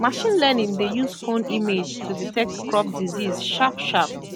machine learning dey use phone image to detect crop disease sharp sharp